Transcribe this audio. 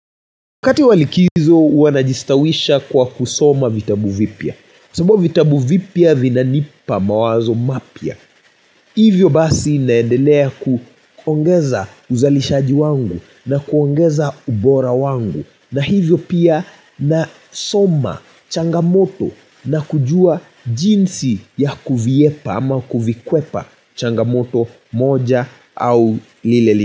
Wakati wa likizo, huwa najistawisha kwa kusoma vitabu vipya. Sababu vitabu vipya vina nipa mawazo mapya. Hivyo basi naendelea kuongeza uzalishaji wangu na kuongeza ubora wangu. Na hivyo pia na soma changamoto na kujua jinsi ya kuvihepa ama kuvikwepa changamoto moja au lileli.